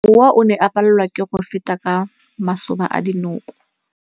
Mowa o ne o palelwa ke go feta ka masoba a dinko.